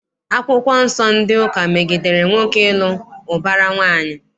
Akwụkwọ Nsọ ndị ụka megidere nwoke ịlụ ụbara nwaanyị.